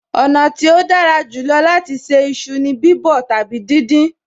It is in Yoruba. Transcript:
Ọ̀nà tí ó dára jù lọ láti ṣe iṣu ni bíbọ̀ tàbí díndín